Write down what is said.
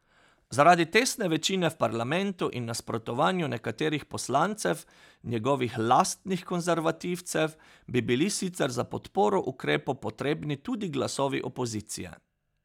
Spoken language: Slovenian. Zaradi tesne večine v parlamentu in nasprotovanju nekaterih poslancev njegovih lastnih konservativcev bi bili sicer za podporo ukrepu potrebni tudi glasovi opozicije.